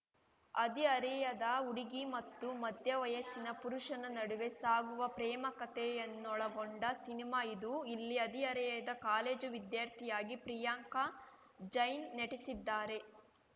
ಹರಿಹರೆಯದ ಹುಡುಗಿ ಮತ್ತು ಮಧ್ಯ ವಯಸ್ಸಿನ ಪುರುಷನ ನಡುವೆ ಸಾಗುವ ಪ್ರೇಮ ಕತೆಯನ್ನು ಒಳಗೊಂಡ ಸಿನಿಮಾ ಇದು ಇಲ್ಲಿ ಹದಿಹರೆಯದ ಕಾಲೇಜು ವಿದ್ಯಾರ್ಥಿಯಾಗಿ ಪ್ರಿಯಾಂಕ ಜೈನ್‌ ನೆಟಿಸಿದ್ದಾರೆ